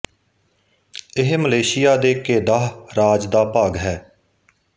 ਇਹ ਮਲੇਸ਼ਿਆ ਦੇ ਕੇਦਾਹ ਰਾਜ ਦਾ ਭਾਗ ਹੈ